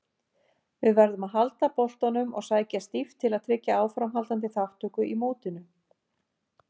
Við verðum að halda boltanum og sækja stíft til að tryggja áframhaldandi þátttöku í mótinu.